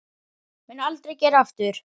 Mun aldrei gera aftur.